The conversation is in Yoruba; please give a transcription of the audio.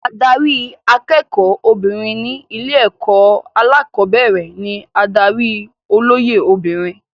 Adarí akẹ́kọ̀ọ́ obìnrin ní ilé-ẹ̀kọ́ alẹ́kọ̀ọ́bẹ̀rẹ̀ ní adarí olóyè obìnrin.